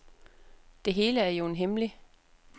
Det hele er jo en hemmelig.